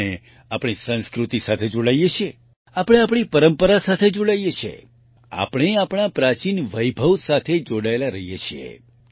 આપણે આપણા સંસ્કારો સાથે જોડાઈએ છીએ આપણે આપણી પરંપરા સાથે જોડાઈએ છીએ આપણે આપણા પ્રાચીન વૈભવ સાથે જોડાયેલા રહીએ છીએ